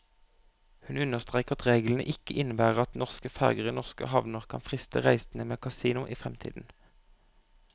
Hun understreker at reglene ikke innebærer at norske ferger i norske havner kan friste reisende med kasino i fremtiden.